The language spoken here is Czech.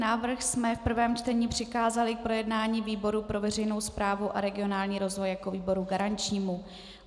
Návrh jsme v prvním čtení přikázali k projednání výboru pro veřejnou správu a regionální rozvoj jako výboru garančnímu.